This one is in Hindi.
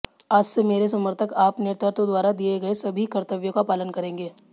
आज से मेरे समर्थक आप नेतृत्व द्वारा दिए गए सभी कर्तव्यों का पालन करेंगे